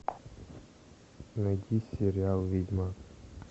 найти сериал ведьмак